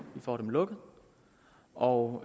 får dem lukket og